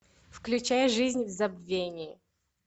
включай жизнь в забвении